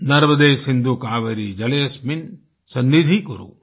नर्मदे सिन्धु कावेरि जलेSस्मिन् सन्निधिं कुरु ईआई